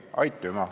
Arto Aas.